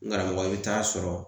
N karamɔgɔ i be taa sɔrɔ